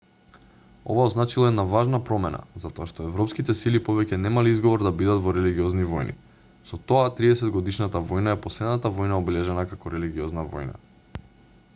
ова означило една важна промена затоа што европските сили повеќе немале изговор да бидат во религиозни војни со тоа триесетгодишната војна е последната војна обележана како религиозна војна